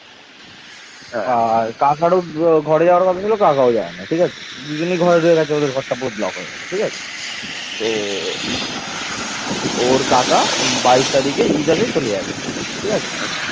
সপ্তম খ্রিস্টপূর্বাব্দের দিকে বাংলাদেশের পশ্চিমাঞ্চল মগধের অংশ হিসেবে ইন্দো-আর্য সভ্যতার অংশ হয়ে উঠেছিল